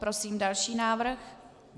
Prosím další návrh.